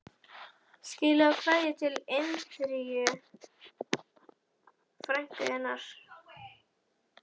Skilaðu kveðju til Indíru, frænku þinnar